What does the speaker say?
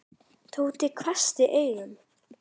Tóti hvessti augum.